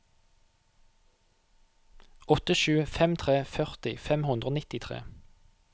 åtte sju fem tre førti fem hundre og nittitre